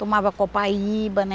Tomava copaíba, né?